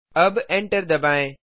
अब एंटर दबाएँ